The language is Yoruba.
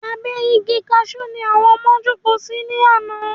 Abẹ́ Igi Kaṣú ni àwọn ọmọ jókòó sí ní àná